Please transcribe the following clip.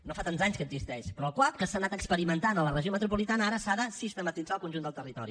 no fa tants anys que existeix però el cuap que s’ha anat experimentant a la regió metropolitana ara s’ha de sistematitzar al conjunt del territori